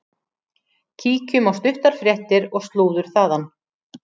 Kíkjum á stuttar fréttir og slúður þaðan.